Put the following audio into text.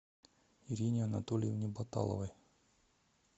ирине анатольевне баталовой